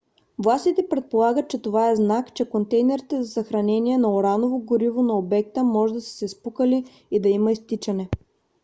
властите предполагат че това е знак че контейнерите за съхранение на ураново гориво на обекта може да са се спукали и да има изтичане